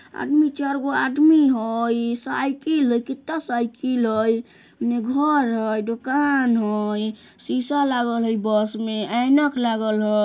आदमी चारगो आदमी हई साइकिल हे कितना साइकिल हई उने घर हई दुकान हई शीशा लागल हई बस में ऐनक लागल ह --